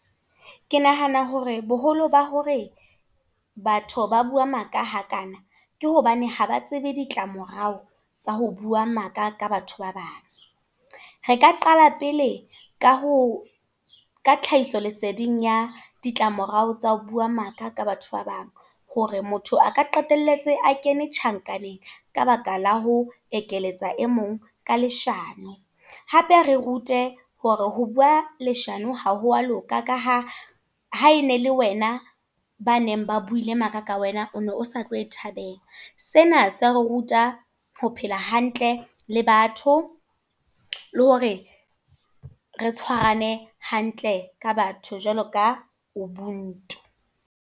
Ke nahana hore boholo ba hore, batho ba bua maka hakana. Ke hobane haba tsebe ditlamorao tsa ho bua maka ka batho ba bang. Re ka qala pele ka ho, ka tlhahiso leseding ya ditlamorao tsa ho bua maka ka batho ba bang. Hore motho a ka qetelletse a kene tjhankaneng ka baka la ho ekeletsa e mong ka leshano. Hape re rute hore ho bua leshano ha ho a loka. Ka ha, ha e ne le wena ba neng ba buile maka ka wena, o ne o sa tlo e thabela. Sena se re ruta ho phela hantle le batho. Le hore re tshwarane hantle ka batho jwalo ka ubuntu.